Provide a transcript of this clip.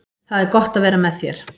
Það er gott að vera með þér.